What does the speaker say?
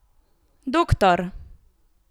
Doktor.